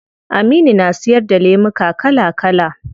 Aminu na siyar da lemuka kala kala